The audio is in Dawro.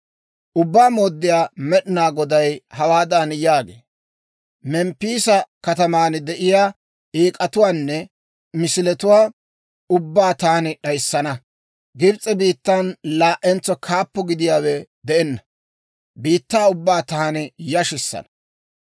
« ‹Ubbaa Mooddiyaa Med'inaa Goday hawaadan yaagee; «Memppiisa kataman de'iyaa eek'atuwaanne misiletuwaa ubbaa taani d'ayissana; Gibs'e biittan laa"entso kaappo gidiyaawe de'enna; biittaa ubbaa taani yashissana.